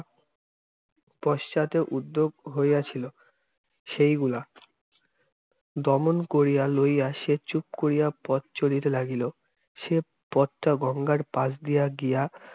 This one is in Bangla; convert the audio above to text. পশ্চাতে উদ্যোগ হইয়াছিল, সেইগুলা দমন করিয়া লইয়া সে চুপ করিয়া পথ চলিতে লাগিলো। সে পথটা গঙ্গার পাশ দিয়া গিয়া